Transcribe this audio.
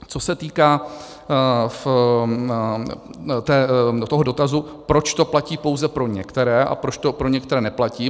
Co se týká toho dotazu, proč to platí pouze pro některé a proč to pro některé neplatí.